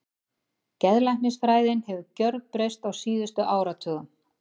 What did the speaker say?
Geðlæknisfræðin hefur gjörbreyst á síðustu áratugum.